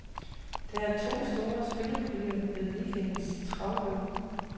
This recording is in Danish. Der er to store spillepuljer ved weekendens travløb.